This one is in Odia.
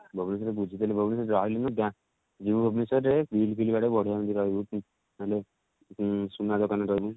ଭୁବନେଶ୍ଵର ରେ ବୁଝିଥିଲି ଭୁବନେଶ୍ଵର ରେ ରହିଲେ ବି ଗାଁ ଯିବୁ ଭୁବନେଶ୍ଵର ରେ heel ଫିଲ ବାଡେଇକି ବଢିଆ ଏମିତି ରହିବୁ ହେଲେ ଉଁ ସୁନା ଦୋକାନ ରେ ରହୁନୁ